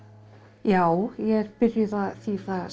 já ég er byrjuð að þýða